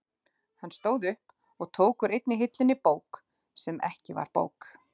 Hann stóð upp og tók úr einni hillunni bók sem ekki var bók.